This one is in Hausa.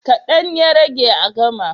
Kaɗan ya rage a gama.